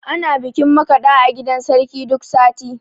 Ana bikin makaɗa a gidan sarki duk sati